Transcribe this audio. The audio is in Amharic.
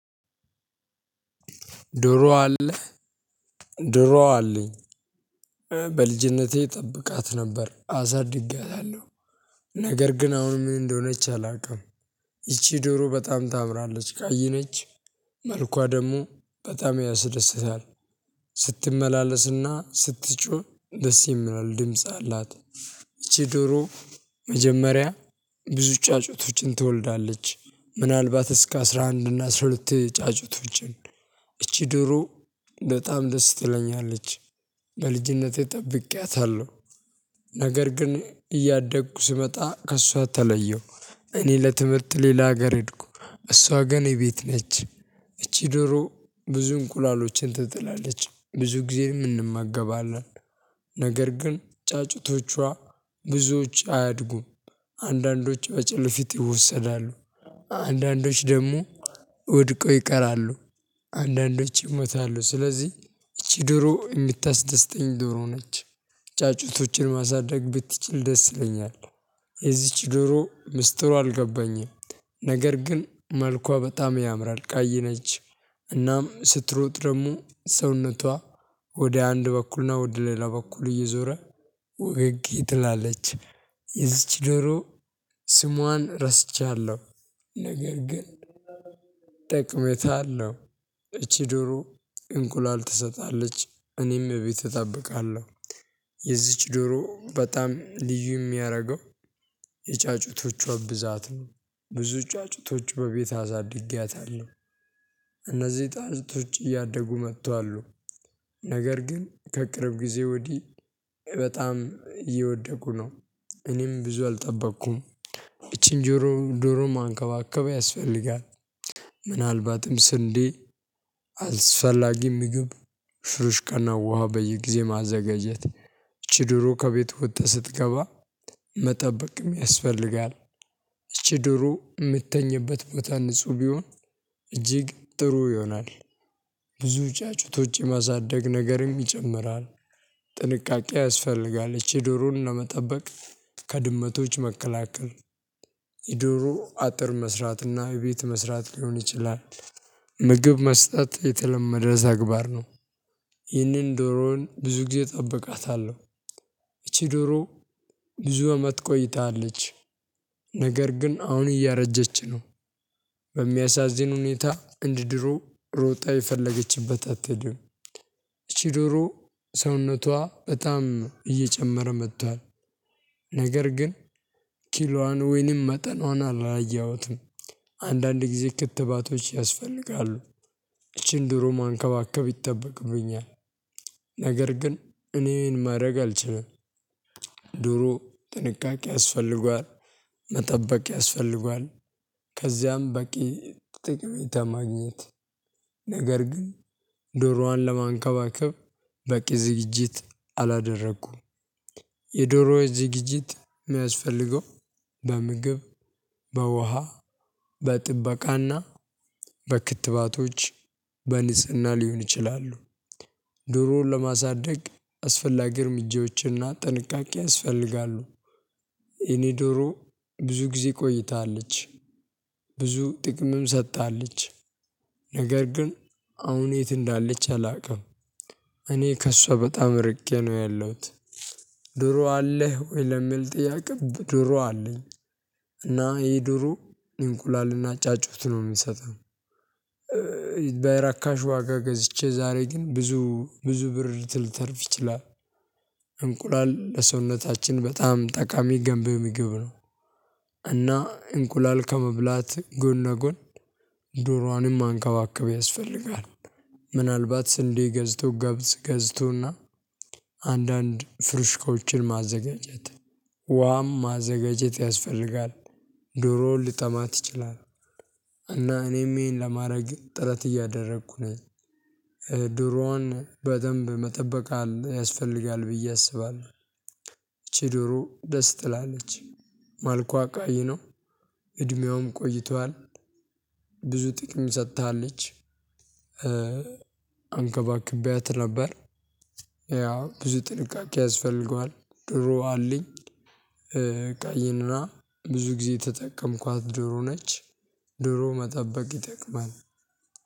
ዶሮ አለ? ዶሮ አለኝ። በልጅነቴ እጠብቃት ነበር አሳድግያታለሁ። ነገር ግን አሁን ምን እንደሆነች አላውቅም። ይቺ ዶሮ በጣም ታምራለች፣ ቀይ ነች። መልኳ ደግሞ በጣም ያስደስታል። ስትመላለስና ስትጮህ ደስ የሚለው ድምጽ አላት። ይቺ ዶሮ መጀመሪያ ብዙ ጫጩቶቹን ትወልዳለች። ምናልባት እስከ አስራ አንድ እና አስራ ሁለት ጫጩቶችን። እቺ ዶሮ በጣም ደስ ትለኛለች። በልጅነቴ ጠብቄያታለሁ። ነገር ግን እያደግኩ ስመጣ ከእሷ ተለየሁ። እኔ ለትምህርት ሌላ ሀገር ሄድኩ። እሷ ግን የቤት ነች። እቺ ዶሮ ብዙ እንቁላሎችን ትጥላለች፣ ብዙ ጊዜ እንመገባለን። ነገር ግን ጫጩቶቿ ብዙዎች አያድጉም። አንዳንዶች በጨለፊት ይወሰዳሉ። አንዳንዶች ደግሞ ወድቆ ይቀራሉ። አንዳንዶች ይሞታሉ። ስለዚህ ይቺ ድሮ የምታስደስተኝ ድሮ ነች። ጫጩቶችን ማሳደግ ብትችል ደስ ይለኛል። የዚች ድሮ ምስጢሩ አልገባኝም። ነገር ግን መልኳ በጣም ያምራል። ቀይ ነች እናም ስትሮጥ ደግሞ ሰውነቷ ወደ አንድ በኩል ነው ወደ ሌላ በኩል እየዞረ ወገግ ትላለች። የዚች ዶሮ ስሟን ረስቻለሁ ነገር ግን ጠቀሜታ አለሁ። እቺ ዶሮ እንቁላል ትሰጣለች እኔም እቤት እጠብቃለሁ። የዚች ዶሮ በጣም ልዩ የሚያደርገው የጫጩቶቿ ብዛት ነው፣ ብዙ ጫጩቶች በቤት አሳድጊያታለሁ እነዚህ ጫጩቶች እያደጉ መጥቷሉ። ነገር ግን ከቅርብ ጊዜ ወዲህ በጣም እየወደቁ ነው። እኔም ብዙ አልጠበቅኩም። ይቺን ጆሮ፣ ዶሮ መንከባከብ ያስፈልጋል። ምናልባትም ስንዴ አልስፈላጊ ምግብ፣ ሽሩሽ ቀና ውሃ በየጊዜ ማዘጋጀት፣ ይቺ ድሮ ከቤት ወጥታ ስትገባ መጠበቅ ያስፈልጋል። እቺ ድሮ የምትተኝበት ቦታ ንጹህ ቢሆን እጅግ ጥሩ ይሆናል። ብዙ ጫጩቶች የማሳደግ ነገርም ይጨምራል። ጥንቃቄ ያስፈልጋል፣ እቺ ዶሮን ለመጠበቅ ከድመቶች መከላከል፣ የዶሮ አጥር መስራትና ቤት መስራት ሊሆን ይችላል፤ ምግብ መስጠት የተለመደ ተግባር ነው። ይህንን ዶሮውን ብዙ ጊዜ እጠብቃታለሁ ይቺ ዶሮ ብዙ አመት ቆይታለች። ነገር ግን አሁን እያረጀች ነው። በሚያሳዝን ሁኔታ እንድድሮ ሮጣ የፈለገችበት አትሄድም፤ እቺ ዶሮ ሰውነቷ በጣም እየጨመረ መጥቷል። ነገር ግን ኪሏን ወይንም መጠኗን አላየሁትም። አንዳንድ ጊዜ ክትባቶች ያስፈልጋሉ፤ ይቺን ድሮ መንከባከብ ይጠበቅብኛል። ነገር ግን እኔ ይሄን ማድረግ አልችልም። ዶሮ ጥንቃቄ ያስፈልገዋል፣ መጠበቅ ያስፈልገዋል፣ ከዚያም በቂ ጠቀሜታ ማግኘት ነገር ግን ዶሮዋን ለመንከባከብ በቂ ዝግጅት አላደረኩም። የዶሮ ዝግጅት የሚያስፈልገው በምግብ፣ በውሃ፣ በጥበቃና በክትባቶች በንጽህና ሊሆን ይችላሉ። ዶሮን ለማሳደግ አስፈላጊ እርምጃዎችና ጥንቃቄ ያስፈልጋሉ። የኔ ዶሮ ብዙ ጊዜ ቆይታለች። ብዙ ጥቅምም ሰጥታለች። ነገር ግን አሁን የት እንዳለች አላውቅም። እኔ ከእሷ በጣም ርቄ ነው ያለሁት። ዶሮ አለህ ወይ? ለሚል ጥያቄ ዶሮ አለኝ። እና ይሄ ዶሮ እንቁላልና ጫጩት ነው የሚሰጠው። በእርካሽ ዋጋ ገዝቼ ዛሬ ግን ብዙ፣ ብዙ ብር ልተርፍ ይችላል። እንቁላል ለሰውነታችን በጣም ጠቃሚ ገንብህ የሚግብ ነው። እና እንቁላል ከመብላት ጎን ነጎን ዶሮዋንም አንካባክበው ያስፈልጋል። ምናልባት ስንዴ ገዝቶ፣ ገብስ ገዝቶና አንዳንድ ፍርሽኮችን ማዘጋጀት፣ ውሃም ማዘጋጀት ያስፈልጋል። ዶሮውን ልጠማት ይችላል እና እኔም ይሄን ለማድረግ ጥረት እያደረኩ ነኝ። ዶሮዋን በደንብ መጠበቅ ያስፈልጋል ብዬ አስባለሁ። ዶሮ ደስ ትላለች፣ መልኳ ቀይ ነው፣ እድሜውም ቆይቷል። ብዙ ጥቅም ሰጥታለች፣ አንከባክቤያት ነበር፣ ያው ብዙ ጥንቃቄ ያስፈልገዋል፣ ድሮ አለኝ። ቀይና ብዙ ጊዜ የተጠቀምኳት ዶሮ ነች። ዶሮ መጠበቅ ይጠቅማል።